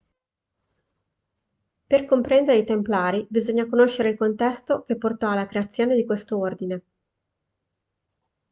per comprendere i templari bisogna conoscere il contesto che portò alla creazione di questo ordine